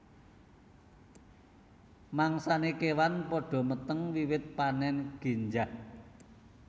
Mangsané kéwan padha meteng wiwit panèn génjah